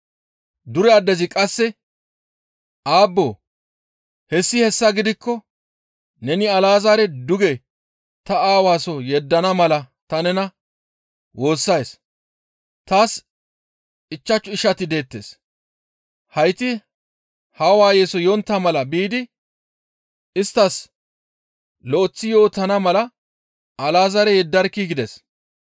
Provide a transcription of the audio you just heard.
«Dure addezi qasse, ‹Aabboo! Hessi hessa gidikko neni Alazaare duge ta aawa soo yeddana mala ta nena woossays; taas ichchashu ishati deettes; hayti haa waayeso yontta mala biidi isttas lo7eththi yootana mala Alazaare yeddarkkii!› gides.